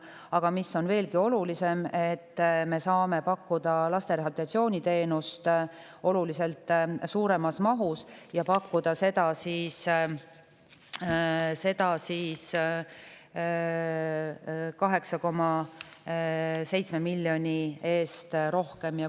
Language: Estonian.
Aga veelgi olulisem, me saame pakkuda laste rehabilitatsiooniteenust oluliselt suuremas mahus, 8,7 miljoni eest rohkem.